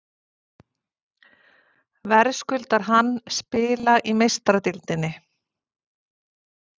Verðskuldar hann spila í Meistaradeildinni?